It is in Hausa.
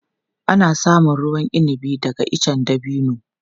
Ana samun ruwan inabi daga icen dabino.